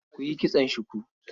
Ku yi kitson shuku.